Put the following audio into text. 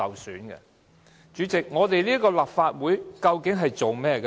代理主席，究竟立法會的工作是甚麼？